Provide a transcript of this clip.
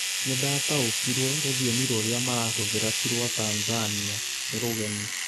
Nĩndataũkirwo rũthiomi rũrĩa marahũthĩra ti rwa Tanzania, nĩ rũgeni